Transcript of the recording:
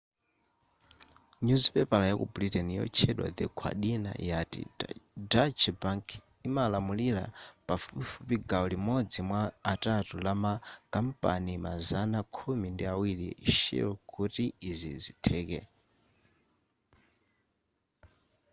nyuzipepala ya ku britain yotchedwa the guardina yati deutsche bank imalamulira pafupifupi gawo limodzi mwa atatu la ma kampani mazana khumi ndi awiri a shell kuti izi zitheke